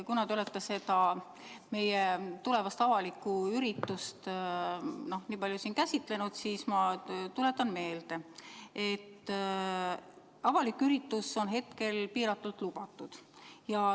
Kuna te olete seda meie tulevast avalikku üritust nii palju siin käsitlenud, siis ma kõigepealt tuletan meelde, et avalik üritus on hetkel piiratult lubatud.